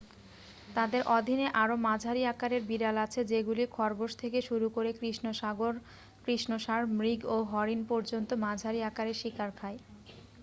তাদের অধীনে আরও মাঝারি আকারের বিড়াল আছে যেগুলি খরগোশ থেকে শুরু করে কৃষ্ণসারমৃগ ও হরিণ পর্যন্ত মাঝারি আকারের শিকার খায়